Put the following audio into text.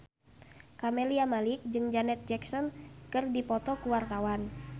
Camelia Malik jeung Janet Jackson keur dipoto ku wartawan